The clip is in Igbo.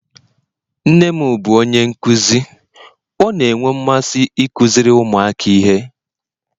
nne m bụ onye nkuzi, ọ na-enwe mmasị ịkụziri ụmụaka ihe